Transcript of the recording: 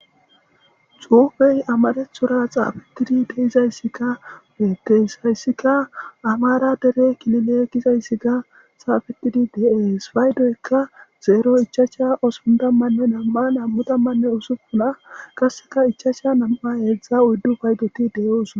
xuufey amanethura xaafetidi deizayssikka beettes hayssika amara dere kilileekizayssi ka xaafetidi deees paydoykka zeero ichaasha osundammanne nam7a nam7u tammanne usuppuna kasseka ichacsha nam7a heedzdza uyddu paydoti de7oosona